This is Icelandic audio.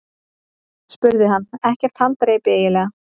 spurði hann: Ekkert haldreipi eiginlega.